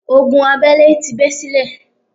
Ogun abẹ́lẹ́ ti bẹ́ sílẹ̀.